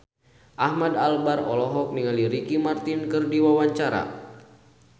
Ahmad Albar olohok ningali Ricky Martin keur diwawancara